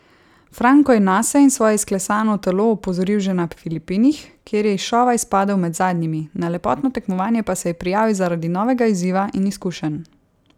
Franko je nase in svoje izklesano telo opozoril že na Filipinih, kjer je iz šova izpadel med zadnjimi, na lepotno tekmovanje pa se je prijavil zaradi novega izziva in izkušenj.